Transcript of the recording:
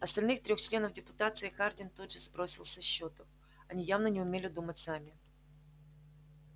остальных трёх членов депутации хардин тут же сбросил со счетов они явно не умели думать сами